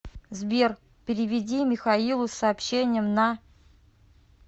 сбер переведи михаилу с сообщением на